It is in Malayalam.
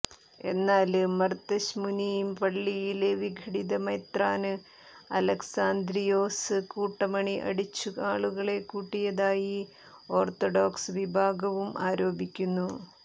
എന്നാല് മര്ത്തശ്ശ്മൂനി പള്ളിയില് വിഘടിത മെത്രാന് അലക്സാന്ദ്രിയോസ് കൂട്ടമണി അടിച്ചു ആളുകളെ കൂട്ടിയതായി ഓര്ത്തഡോക്സ് വിഭാഗവും ആരോപിക്കുന്നു